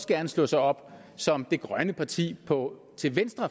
gerne slå sig op som det borgerlige grønne parti